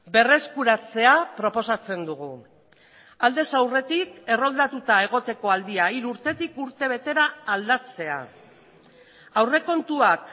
berreskuratzea proposatzen dugu aldez aurretik erroldatuta egoteko aldia hiru urtetik urte betera aldatzea aurrekontuak